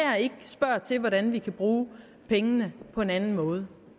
spørger til hvordan vi kan bruge pengene på en anden måde